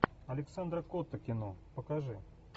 александра котта кино покажи